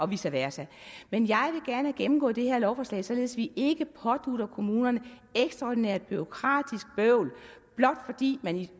vice versa men jeg vil gerne have gennemgået det her lovforslag således at vi ikke pådutter kommunerne ekstraordinært bureaukratisk bøvl blot fordi man